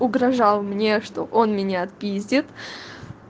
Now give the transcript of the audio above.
угрожал мне что он меня отпиздит